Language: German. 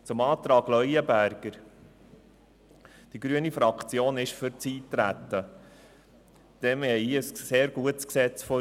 Zum Antrag Leuenberger: Die grüne Fraktion befürwortet das Eintreten, denn es liegt ein sehr gutes Gesetz vor.